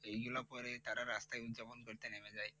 এইগুলো পরে তারা রাস্তায় উৎযাপন করতে নেমে যায়।